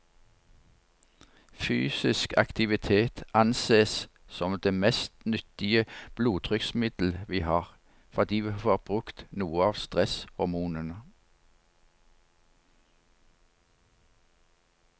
Fysisk aktivitet ansees som det mest nyttige blodtrykksmiddelet vi har, fordi vi får brukt noe av stresshormonene.